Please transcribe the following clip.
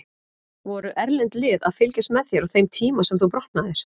Voru erlend lið að fylgjast með þér á þeim tíma sem þú brotnaðir?